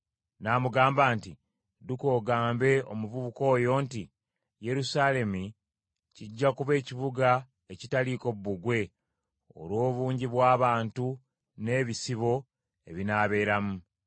N’amugamba nti, “Dduka ogambe omuvubuka oyo nti, ‘Yerusaalemi kijja kuba ekibuga ekitaliiko bbugwe olw’obungi bw’abantu n’ebisibo ebinaabeeramu.